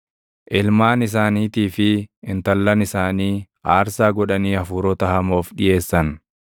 Ilmaan isaaniitii fi intallan isaanii aarsaa godhanii hafuurota hamoof dhiʼeessan.